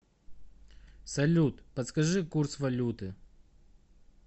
салют подскажи курс валюты